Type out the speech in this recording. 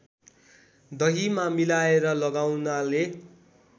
दहीमा मिलाएर लगाउनाले